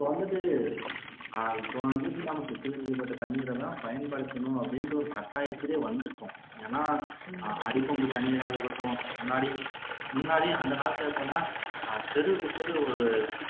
இப்ப வந்துட்டு சுத்திகரிக்கப்பட்ட தண்ணீரைத்தான் பயன்படுத்தணும் அப்படிங்கிற ஒரு கட்டாயத்துலயே வந்துட்டோம் ஏன்னாஅடிபம்பு தண்ணீரா இருக்கட்டும் முன்னாடி முன்னாடி அந்த காலத்துல எப்படி இருக்கும்னா தெருவுக்கு தெரு